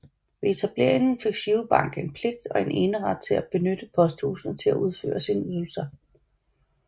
Ved etableringen fik GiroBank en pligt og en eneret til at benytte posthusene til at udføre sine ydelser